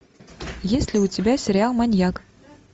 есть ли у тебя сериал маньяк